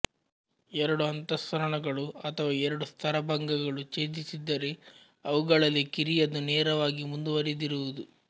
ಎರಡು ಅಂತಸ್ಸರಣಗಳು ಅಥವಾ ಎರಡು ಸ್ತರಭಂಗಗಳು ಛೇದಿಸಿದ್ದರೆ ಅವುಗಳಲ್ಲಿ ಕಿರಿಯದು ನೇರವಾಗಿ ಮುಂದುವರಿದಿರುವುದು